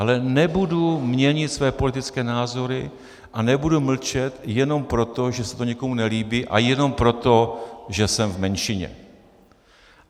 Ale nebudu měnit své politické názory a nebudu mlčet jenom proto, že se to někomu nelíbí, a jenom proto, že jsem v menšině.